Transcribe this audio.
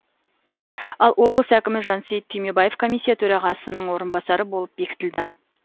ал облыс әкімі жансейіт түймебаев комиссия төрағасының орынбасары болып бекітілді